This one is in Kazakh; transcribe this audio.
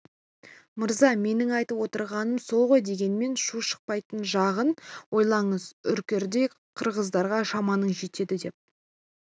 мырза менің айтып отырғаным сол ғой дегенмен шу шықпайтын жағын ойлаңыз үркердей киргиздарға шамаңыз жетеді деп